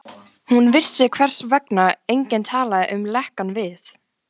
Hún vissi, hvers vegna enginn talaði um lekann við